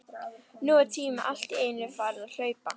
Nú var tíminn allt í einu farinn að hlaupa.